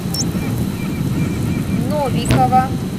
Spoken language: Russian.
новикова